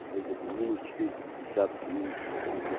уже где-то минус четыреста пятьдесят там минус